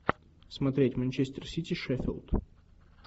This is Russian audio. смотреть манчестер сити шеффилд